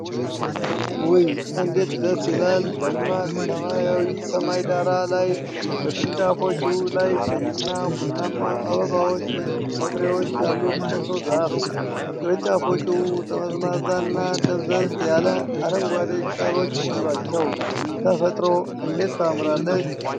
ውይ እንዴት ደስ ይላል! ደማቅ ሰማያዊ ሰማይ ዳራ ላይ በቅርንጫፎቹ ላይ ቀይና ቡናማ አበባዎች ወይም ፍሬዎች ያሉት ኮሶ ዛፍ ። ቅርንጫፎቹ ጠመዝማዛና ደብዘዝ ያለ አረንጓዴ ቅጠሎች አሏቸው። ተፈጥሮ እንዴት ታምራለች!